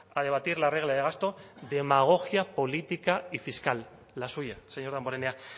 a debatir la regla de gasto demagogia política y fiscal la suya señor damborenea